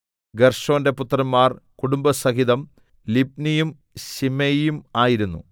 ഗേർശോന്റെ പുത്രന്മാർ കുടുംബസഹിതം ലിബ്നിയും ശിമെയിയും ആയിരുന്നു